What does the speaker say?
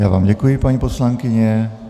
Já vám děkuji, paní poslankyně.